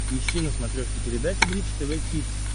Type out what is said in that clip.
ищи на смотрешке передачу бридж тв хитс